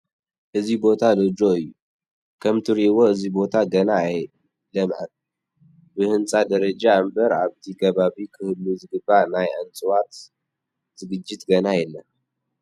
እዚ ቦታ ሎጅ እዩ፡፡ ከምትንሪኦ እዚ ቦታ ገና ኣይለምዐን፡፡ ብህንፃ ደረጃ እምበር ኣብቲ ከባቢ ክህሉ ዝግብኦ ናይ እፅዋት ዝግጅት ገና የለን፡፡